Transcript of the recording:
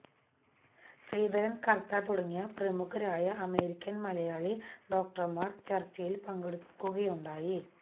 ശ്രീധരന് കര്ത്താ തുടങ്ങിയ പ്രമുഖരായ അമേരിക്കന് മലയാളി ഡോക്ടര്മാര് ചര്ച്ചയില് പങ്കെടുക്കുകയുണ്ടായി